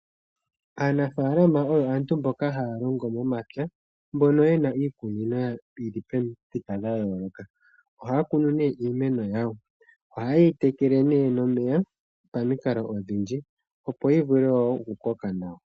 Aanafalama oyo aantu mboka haya longo momapya mbono ye na iikunino yili pamuthika dha yooloka oha ya kunu nee iimeno yawo nohaye yi tekele pamikalo odhindji opo yi vule wo okukoka nawa.